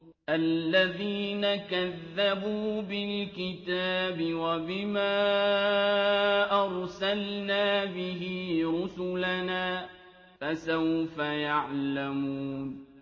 الَّذِينَ كَذَّبُوا بِالْكِتَابِ وَبِمَا أَرْسَلْنَا بِهِ رُسُلَنَا ۖ فَسَوْفَ يَعْلَمُونَ